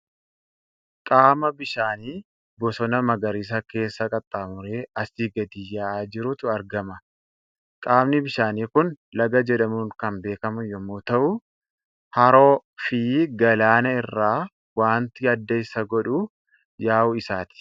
Qaama bishaanii bosona magariisa keessa qaxxaamuree asii gadi yaa'aa jirutu argama. Qaamni bishaanii kun laga jedhamuun kan beekamu yommuu ta'u, haroo fi galaana irraa waanti adda isa godhu, yaa'uu isaati.